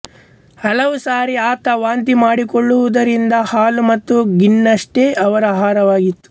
ಹಲವು ಸಾರಿ ಆತ ವಾಂತಿ ಮಾಡಿಕೊಳ್ಳುತ್ತಿದ್ದುರಿಂದ ಹಾಲು ಮತ್ತು ಗಿಣ್ಣಷ್ಟೇ ಅವರ ಆಹಾರವಾಗಿತ್ತು